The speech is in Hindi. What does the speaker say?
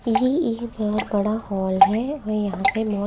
ये एक बहुत बड़ा हाल है और यहां पे--